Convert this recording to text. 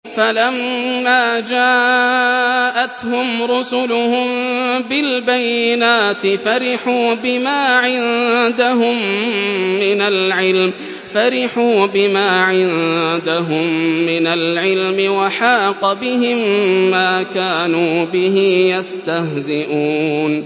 فَلَمَّا جَاءَتْهُمْ رُسُلُهُم بِالْبَيِّنَاتِ فَرِحُوا بِمَا عِندَهُم مِّنَ الْعِلْمِ وَحَاقَ بِهِم مَّا كَانُوا بِهِ يَسْتَهْزِئُونَ